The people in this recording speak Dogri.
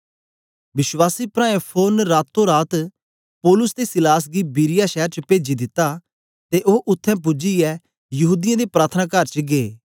विश्वासी प्राऐं फोरन रातो रात पौलुस ते सीलास गी बिरीया शैर च पेजी दिता ते ओ उत्थें पूजियै यहूदीयें दे प्रार्थनाकार च गै